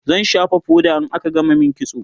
zan shafa foda in aka gama min kitso